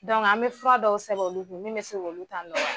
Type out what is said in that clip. an bɛ fura dɔw sɛbɛn olu kun min mɛ se k'olu ta nɔgɔya.